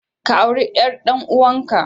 Ka auri ƴar ɗanuwanka.